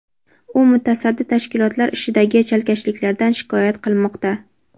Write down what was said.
u mutasaddi tashkilotlar ishidagi chalkashliklardan shikoyat qilmoqda.